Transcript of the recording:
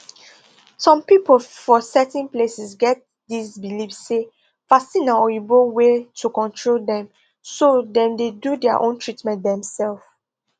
some people for certain places get this believe say vaccine na oyibo way to control dem so dem dey do their own treatment themselves